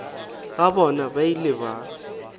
ga bona ba ile ba